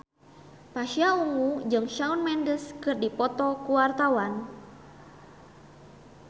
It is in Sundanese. Pasha Ungu jeung Shawn Mendes keur dipoto ku wartawan